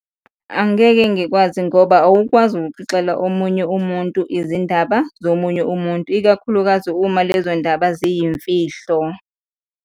Angeke ngikwazi ngoba awukwazi ukukhixela omunye umuntu izindaba zomunye umuntu, ikakhulukazi uma lezo yindaba ziyimfihlo.